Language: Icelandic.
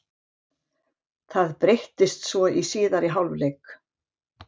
Það breyttist svo í síðari hálfleik.